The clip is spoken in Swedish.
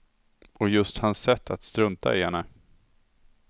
Och just hans sätt att strunta i henne.